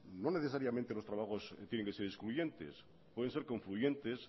no necesariamente los trabajos tienen que ser excluyentes pueden ser concluyentes